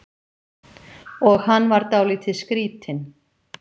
Og hann var dálítið skrýtinn.